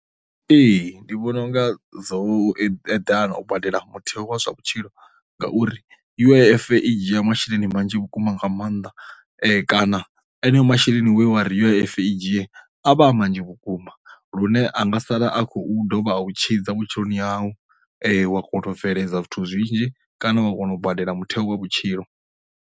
Ee, ndi vhona unga dzo eḓana u badela mutheo wa zwa vhutshilo ngauri U_I_F i dzhiya masheleni manzhi vhukuma nga maanḓa kana eneo masheleni wana ri U_I_F i dzhie a vha manzhi vhukuma, lune anga sala a khou dovha a u tshidza vhutshiloni au wa kona u bveledza zwithu zwinzhi kana wa kona u badela mutheo wa vhutshilo.